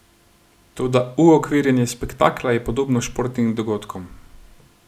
Toda uokvirjanje spektakla je podobno športnim dogodkom.